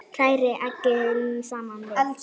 Hrærið eggin saman við.